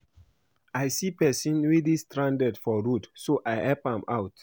I see person wey dey stranded for road so I help am out